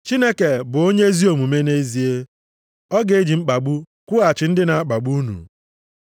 Chineke bụ onye ezi omume nʼezie. Ọ ga-eji mkpagbu kwụghachi ndị na-akpagbu unu.